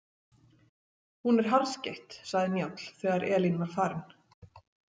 Hún er harðskeytt, sagði Njáll þegar Elín var farin.